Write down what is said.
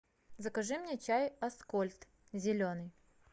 закажи мне чай аскольд зеленый